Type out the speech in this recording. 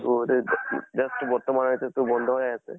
just বৰ্তমান এইতো টো বন্ধ হৈ আছে।